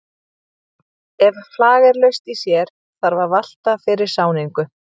Ef flag er laust í sér þarf að valta fyrir sáningu.